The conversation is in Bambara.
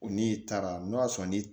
U n'i taara n'o y'a sɔrɔ ni